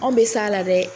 Anw bɛ s'a la dɛ